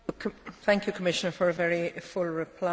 Thank you, Commissioner, for a very full reply.